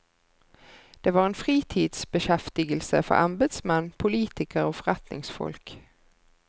Det var en fritidsbeskjeftigelse for embetsmenn, politikere og forretningsfolk.